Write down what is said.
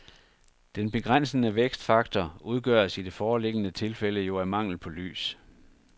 Den begrænsende vækstfaktor udgøres i det foreliggende tilfælde jo af mangel på lys.